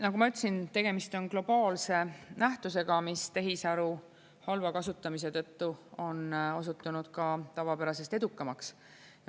Nagu ma ütlesin, tegemist on globaalse nähtusega, mis tehisaru halva kasutamise tõttu on osutunud ka tavapärasest edukamaks.